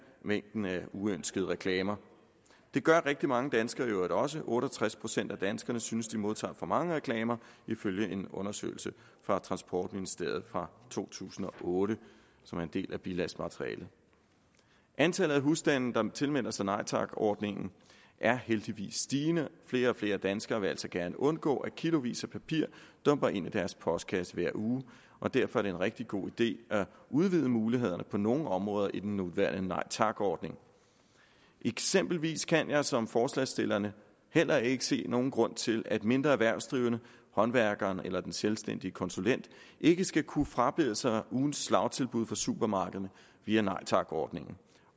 mængden af uønskede reklamer det gør rigtig mange danskere i øvrigt også otte og tres procent af danskerne synes de modtager for mange reklamer ifølge en undersøgelse fra transportministeriet fra to tusind og otte som er en del af bilagsmaterialet antallet af husstande der tilmelder sig nej tak ordningen er heldigvis stigende flere og flere danskere vil altså gerne undgå at kilovis af papir dumper ind i deres postkasse hver uge og derfor er det en rigtig god idé at udvide mulighederne på nogle områder i den nuværende nej tak ordning eksempelvis kan jeg som forslagsstillerne heller ikke se nogen grund til at mindre erhvervsdrivende håndværkeren eller den selvstændige konsulent ikke skal kunne frabede sig ugens slagtilbud fra supermarkederne via nej tak ordningen